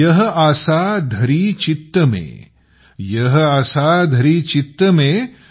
यह आसा धरि चित्त में यह आसा धरि चित्त में